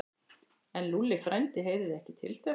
En Lúlli frændi heyrði ekki til þeirra.